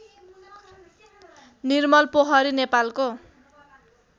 निर्मलपोखरी नेपालको